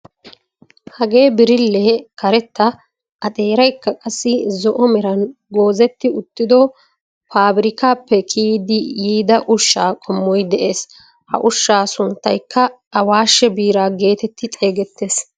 Hagee birillee karetta a xeeraykka qassi zo'o meran goozetti uttido pabirkkaappe giigidi yiida ushshaa qommoy de'ees. Ha ushshaa sunttaykka awaashshe biraa getetti xeegettees.